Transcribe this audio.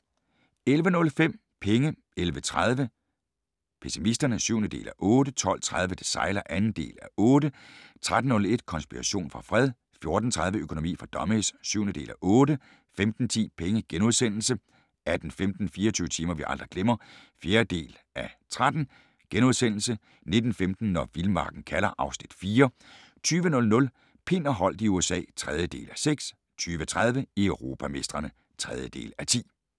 11:05: Penge 11:30: Pessimisterne (7:8) 12:30: Det sejler (2:8) 13:01: Konspiration for fred 14:30: Økonomi for dummies (7:8) 15:10: Penge * 18:15: 24 timer vi aldrig glemmer (4:13)* 19:15: Når vildmarken kalder (Afs. 4) 20:00: Pind og Holdt i USA (3:6) 20:30: Europamestrene (3:10)